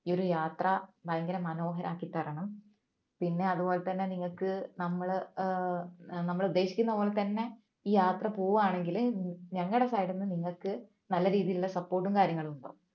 ഈ ഒരു യാത്ര ഭയങ്കര മനോഹരമാക്കി തരണം പിന്നെ അതുപോലെതന്നെ നിങ്ങൾക്ക് നമ്മള്ഏർ നമ്മള് ഉദ്ദേശിക്കുന്ന പോലെ തന്നെ ഈ യാത്ര പോവുകയാണെങ്കിൽ ഞങ്ങളുടെ side ന്ന് നിങ്ങൾക്ക് നല്ലൊരു രീതിയിലുള്ള support ഉം കാര്യങ്ങളും ഉണ്ടാവും